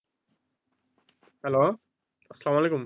hello আসসালামু আলাইকুম,